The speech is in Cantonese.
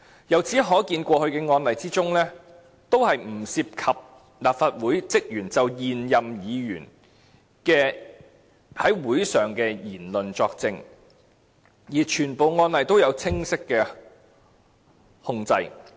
由此可見，在過去的案例中，也是不涉及立法會職員就現任議員在會議上所作出的言論作證，而且全部案例也有清晰控制。